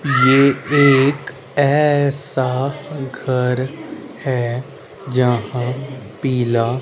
ये एक ऐसा घर है यहां पीला--